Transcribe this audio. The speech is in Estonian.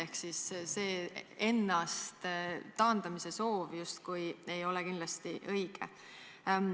Ehk siis see justkui enda taandamise soov ei ole kindlasti õige.